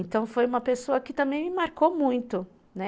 Então, foi uma pessoa que também me marcou muito, né?